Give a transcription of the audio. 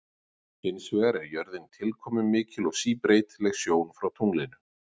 Hins vegar er jörðin tilkomumikil og síbreytileg sjón frá tunglinu.